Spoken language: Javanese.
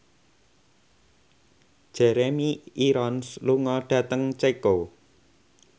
Jeremy Irons lunga dhateng Ceko